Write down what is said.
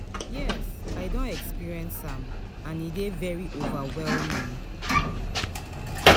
Yes, i don experience am, and e dey very overwhelming.